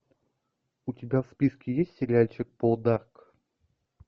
у тебя в списке есть сериальчик полдарк